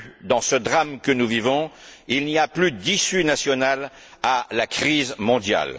Dans ce drame que nous vivons, il n'y a plus d'issue nationale à la crise mondiale.